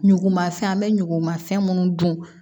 Ɲugunmafɛn an bɛ ɲugun fɛn minnu dun